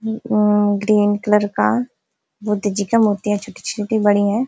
अं और green colour का बुद्ध जी का मूर्ति है छोटी-छोटी बड़ी हैं।